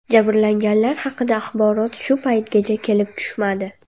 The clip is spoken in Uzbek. Jabrlanganlar haqida axborot shu paytgacha kelib tushmadi.